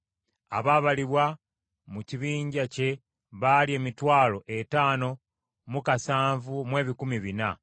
Abaabalibwa mu kibinja kye baali emitwalo etaano mu kasanvu mu ebikumi bina (57,400).